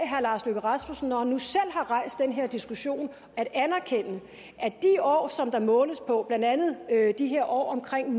herre lars løkke rasmussen når han nu selv har rejst den her diskussion at anerkende at de år som der måles på blandt andet de her år omkring